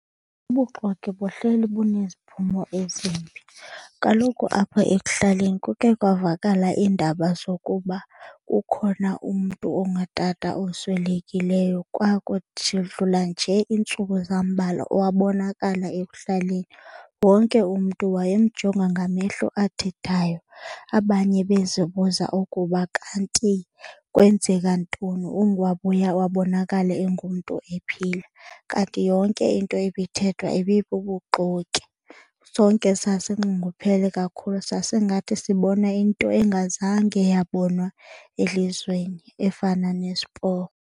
Ubuxoki buhleli buneziphumo ezimbi. Kaloku apha ekuhlaleni kuke kwavakala iindaba zokuba kukhona umntu ongutata oswelekileyo njee iintsuku zambalwa wabonakala ekuhlaleni. Wonke umntu wayemjonga ngamehlo athethayo, abanye bezibuza ukuba kanti kwenzeka ntoni, wabuya wabonakala engumntu ephila. Kanti yonke into ibithethwa ibibubuxoki. Sonke sasinxunguphele kakhulu sasingathi sibona into engazange yabonwa elizweni efana .